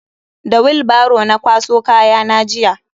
Da willbaro na kwaso kayana jiya.